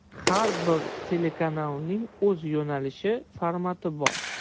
Har bir telekanalning o‘z yo‘nalishi, formati bor.